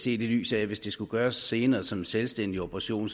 i det lys at hvis det skulle gøres senere som en selvstændig operation